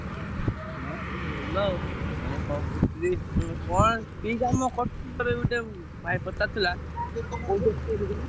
ହଁ ସବୁ ଭଲ ଆଉ। ମୁଁ କଣ କହୁ~ ଥିଲି~ ତମେ କଣ କି କାମ ଗୋଟେ ଭାଇ ପଚାରୁଥିଲା।